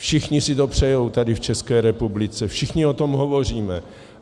Všichni si to přejí tady v České republice, všichni o tom hovoříme.